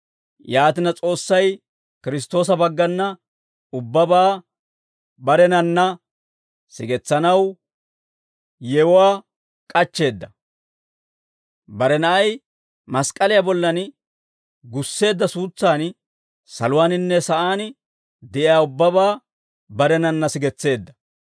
Yaatina S'oossay Kiristtoosa baggana ubbabaa barenanna sigetsanaw yewuwaa k'achcheedda; bare Na'ay mask'k'aliyaa bollan gusseedda suutsan saluwaaninne sa'aan de'iyaa ubbabaa barenanna sigetseedda.